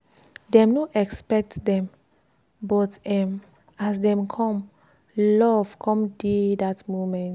dem no expect dem but um as dem come love come dey dat moment.